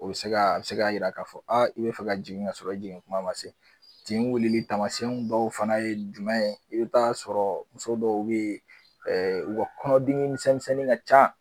O be se ga a be se ga yira k'a fɔ aa i be fɛ ka jigin k'a sɔrɔ i jigin kuma ma se tin wilili tamasɛn dɔww fana ye jumɛn ye i be t'a sɔrɔ muso dɔw be yen ɛɛ u ka kɔnɔdimi misɛnmisɛnni ka ca